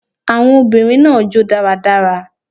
Awon obìnrin naa jo daradara